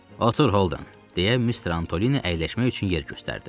Otur, Holden, deyə Mister Antoni əyləşmək üçün yer göstərdi.